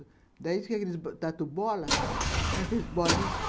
Daí diz que aqueles tatu-bola, sabe aqueles bolinhas?